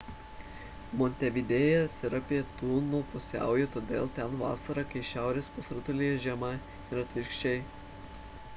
montevidėjas yra į pietus nuo pusiaujo todėl ten vasara kai šiaurės pusrutulyje žiema ir atvirkščiai